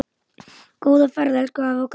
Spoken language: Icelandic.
Góða ferð elsku afi okkar.